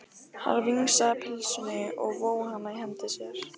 Hann vingsaði pylsunni og vóg hana í hendi sér.